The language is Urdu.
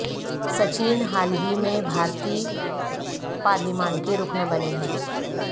سچن حال ہی میں بھارتی پارلیمان کے رکن بنے ہیں